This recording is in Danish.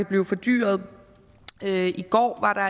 blive fordyret i går var der